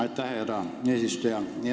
Aitäh, härra eesistuja!